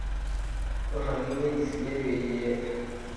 duraki ewueji sidain peyie i